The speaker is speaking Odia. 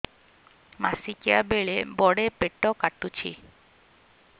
ମାସିକିଆ ବେଳେ ବଡେ ପେଟ କାଟୁଚି